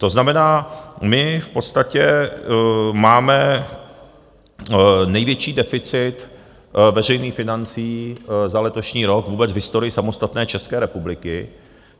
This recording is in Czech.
To znamená, my v podstatě máme největší deficit veřejných financí za letošní rok vůbec v historii samostatné České republiky.